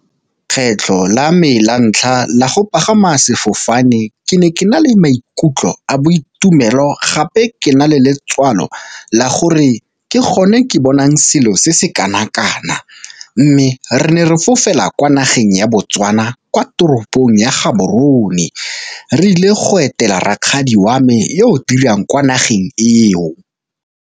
Kgetlho la me la ntlha la go pagama sefofane ke ne ke na le maikutlo a boitumelo gape ke na le letswalo la gore ke gone ke bonang selo se se kana-kana, mme re ne re fofela kwa nageng ya Botswana kwa toropong ya Gaborone re ile go etela rakgadi wa me yo o dirang kwa nageng eo.